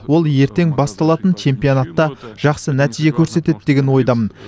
ол ертең басталатын чемпионатта жақсы нәтиже көрсетеді деген ойдамын